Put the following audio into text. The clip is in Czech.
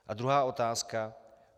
A druhá otázka.